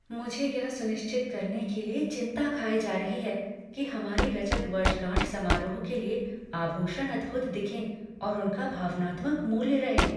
मुझे यह सुनिश्चित करने के लिए चिंता खाए जा रही है कि हमारी रजत वर्षगांठ समारोह के लिए आभूषण अद्भुत दिखें और उनका भावनात्मक मूल्य रहे।